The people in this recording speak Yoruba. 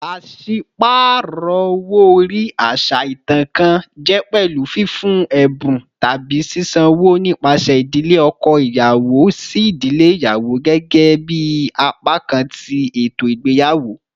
Paṣipaarọ owo-ori, aṣa itan kan, jẹ pẹlu fifun ẹbun tabi sisanwo nipasẹ idile ọkọ iyawo si idile iyawo gẹgẹbi apakan ti eto igbeyawo.